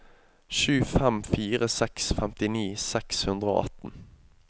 sju fem fire seks femtini seks hundre og atten